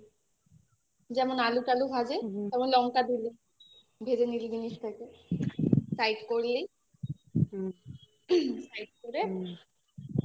যেমন আলু টালু ভাজে তেমন লঙ্কা ঢেলে ভেজে নিলি জিনিসটাকে side করলি side করে